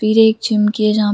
पिले चमकीला--